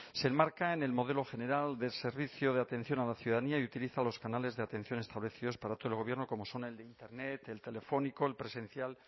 se enmarca en el modelo general del servicio de atención a la ciudadanía y utiliza los canales de atención establecidos para todo el gobierno como son el de internet el telefónico el presencial